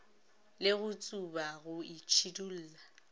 le go tsuba go itšhidulla